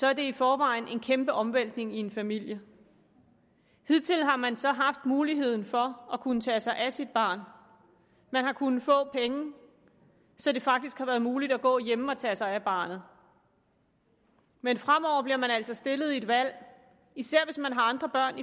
er det i forvejen en kæmpe omvæltning i en familie hidtil har man så haft muligheden for at kunne tage sig af sit barn man har kunnet få penge så det faktisk har været muligt at gå hjemme og tage sig af barnet men fremover bliver man altså stillet over for et valg især hvis man har andre børn